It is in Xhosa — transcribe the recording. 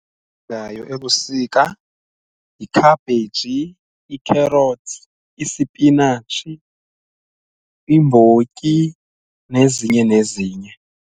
Ezilimekayo ebusika yikhabheji, i-carrots, isipinatshi, imbotyi nezinye nezinye.